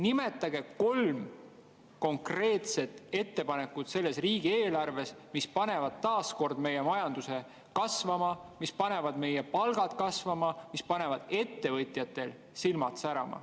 Nimetage kolm konkreetset ettepanekut selles riigieelarves, mis panevad meie majanduse taas kord kasvama, mis panevad meie palgad kasvama, mis panevad ettevõtjatel silmad särama.